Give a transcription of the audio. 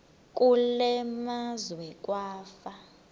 kule meazwe kwafa